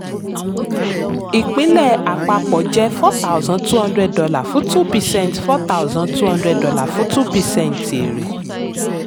ìpínlẹ̀ àpapọ̀ jẹ́ four thousand two hundred dollar fún two percent four thousand two hundred dollar fún two percent èrè.